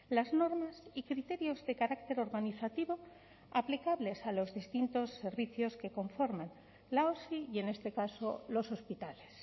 las normas y criterios de carácter organizativo aplicables a los distintos servicios que conforman la osi y en este caso los hospitales